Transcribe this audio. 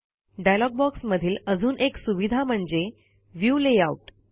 dialogue box मधील अजून एक सुविधा म्हणजे व्ह्यू लेआउट